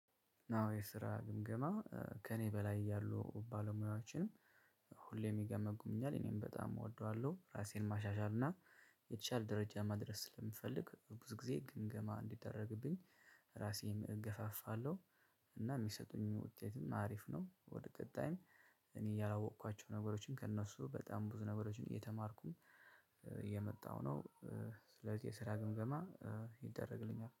ዋናው የስራ ግምገማ ከእኔ በላይ ያሉ ባለሙያዎችን ሁሌም ይገመግኛል እኔም በጣም እወደዋለሁ ራሴን ማሻሻል እና የተሻለ ደረጃ መድረስ ስለምፈልግ ብዙ ጊዜ ግምገማ እንዲደረግብኝ ራሴም እገፋፋለሁ። እና የሚሰጡኝ ውጤትም አሪፍ ነው ወደ ቀጣይም እኔ ያላወቅኳቸው ነገሮችን ከእነሱ በጣም ብዙ ነገሮችን እየተማርኩኝ እየመጣሁ ነው። ስለዚህ የስራ ግምገማ ይደረግልኛል።